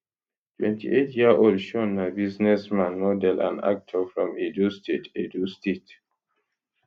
28yearold shaun na businessman model and actor from edo state edo state